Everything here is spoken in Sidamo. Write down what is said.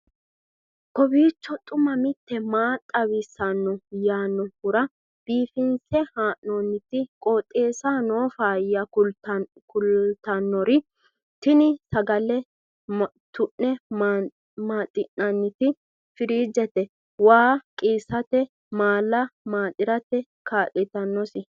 kowiicho xuma mtini maa xawissanno yaannohura biifinse haa'noonniti qooxeessano faayya kultannori tini sagale tu'ne maaxi'nanniti firiijete waa qiissate maala maaxirate kaa'litannosi